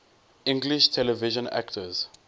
english television actors